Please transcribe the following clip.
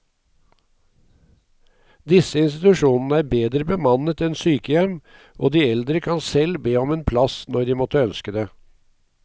Disse institusjonene er bedre bemannet enn sykehjem, og de eldre kan selv be om en plass når de måtte ønske det.